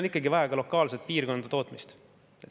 Meil on vaja ka lokaalset piirkondlikku tootmist.